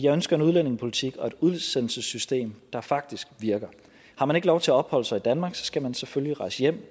ønsker en udlændingepolitik og et udsendelsessystem der faktisk virker har man ikke lov til at opholde sig i danmark skal man selvfølgelig rejse hjem